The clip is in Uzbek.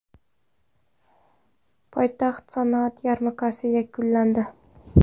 Poytaxtda sanoat yarmarkasi yakunlandi .